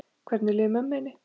Hvernig líður mömmu þinni?